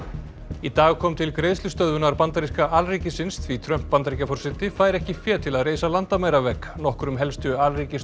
í dag kom til greiðslustöðvunar bandaríska alríkisins því Trump Bandaríkjaforseti fær ekki fé til að reisa landamæravegg nokkrum helstu